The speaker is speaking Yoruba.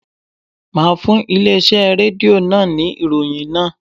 Máa fún ilé iṣẹ́ Rédíò náà ní ìròyìn náà.